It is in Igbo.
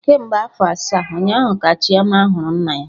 Kemgbe afọ asaa, ụnyaahụ ka Chioma hụrụ nna ya